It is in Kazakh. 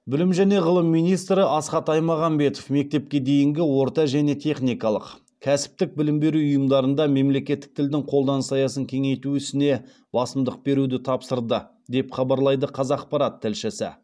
білім және ғылым министрі асхат аймағамбетов мектепке дейінгі орта және техникалық кәсіптік білім беру ұйымдарында мемлекеттік тілдің қолданыс аясын кеңейту ісіне басымдық беруді тапсырды деп хабарлайды қазақпарат тілшісі